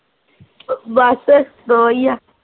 ਬਸ ਦੋ ਈ ਆ